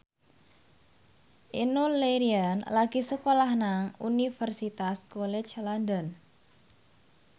Enno Lerian lagi sekolah nang Universitas College London